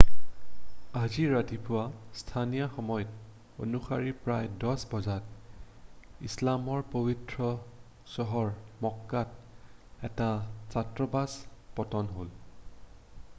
আজি ৰাতিপুৱা স্থানীয় সময় অনুসৰি প্ৰায় 10 বজাত ইছলামৰ পৱিত্ৰ চহৰ মক্কাত এটা ছাত্ৰবাস পতন হ'ল